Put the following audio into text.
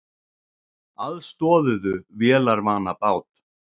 Aðstoðuðu vélarvana bát